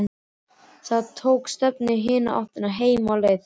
Tók þá stefnuna í hina áttina, heim á leið.